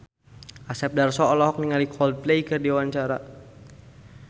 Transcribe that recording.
Asep Darso olohok ningali Coldplay keur diwawancara